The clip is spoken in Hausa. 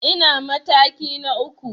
Ina mataki na uku.